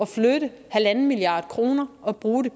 flytte en milliard kroner og bruge